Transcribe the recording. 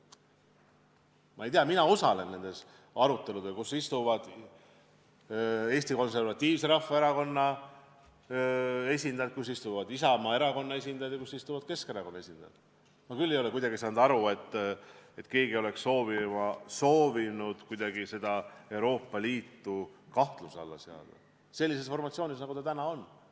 Ma ei tea, mina osalen nendes aruteludes, kus osalevad Eesti Konservatiivse Rahvaerakonna esindajad, kus osalevad Isamaa Erakonna esindajad ja kus osalevad Keskerakonna esindajad, ja ma küll ei ole aru saanud, nagu keegi oleks soovinud kuidagi Euroopa Liitu kahtluse alla seada sellise formatsioonina, nagu ta täna on.